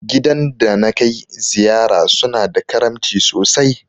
Gidan da na kai ziyara su na da karamci sosai